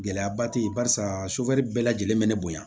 Gɛlɛyaba te yen barisa sofɛri bɛɛ lajɛlen be ne bonya